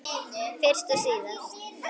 Fyrst og síðast.